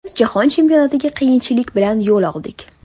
Biz Jahon Chempionatiga qiyinchilik bilan yo‘l oldik.